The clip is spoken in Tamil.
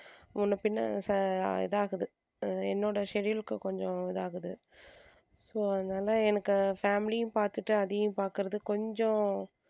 முன்ன பின்ன இதாகுது அஹ் என்னோட schedule க்கு கொஞ்சம் இதாகுது so அதனால எனக்கு family யும் பாத்துட்டு அதையும் பாக்கறது கொஞ்சம்